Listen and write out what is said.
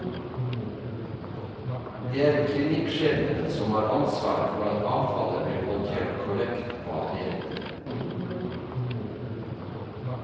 Det er klinikksjefene som har ansvar for at avfallet blir håndtert korrekt på avdelingene.